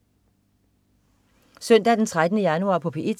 Søndag den 13. januar - P1: